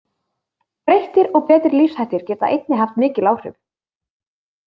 Breyttir og betri lífshættir geta einnig haft mikil áhrif.